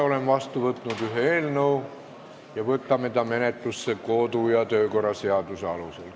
Olen vastu võtnud ühe eelnõu ja me võtame ta menetlusse kodu- ja töökorra seaduse alusel.